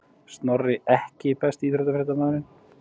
Snorri EKKI besti íþróttafréttamaðurinn?